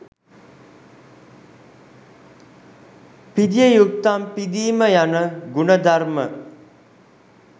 පිදිය යුත්තන් පිදීම යන ගුණ ධර්ම